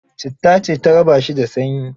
Citta ce ta raba shi da sanyi.